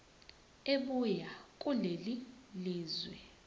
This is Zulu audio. ebuya kulelo lizwe